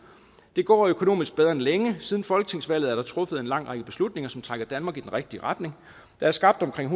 det går økonomisk bedre end længe siden folketingsvalget er der truffet en lang række beslutninger som trækker danmark i den rigtige retning der er skabt omkring